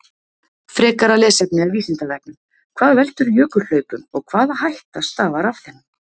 Frekara lesefni af Vísindavefnum: Hvað veldur jökulhlaupum og hvaða hætta stafar af þeim?